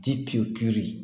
Dipi